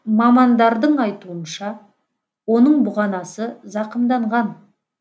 мамандардың айтуынша оның бұғанасы зақымданған